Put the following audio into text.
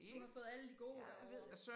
Du har fået alle de gode derovre